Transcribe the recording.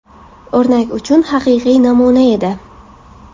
O‘rnak uchun haqiqiy namuna edi.